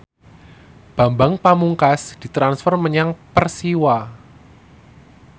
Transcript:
Bambang Pamungkas ditransfer menyang Persiwa